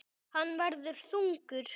Hann verður þungur.